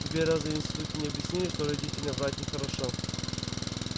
тебе разве в институте не объясняли что родителям врать не хорошо